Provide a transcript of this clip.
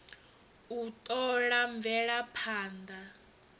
u t ola mvelaphand a